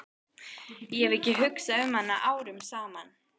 Ég hef ekki hugsað um hana árum saman.